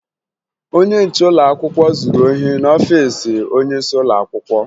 Onye nche ụlọakwụkwọ zuru ohi n'ọfiisi onyeisi ụlọakwụkwọ